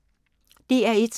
DR1